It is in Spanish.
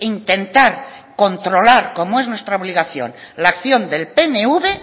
intentar controlar como es nuestra obligación la acción del pnv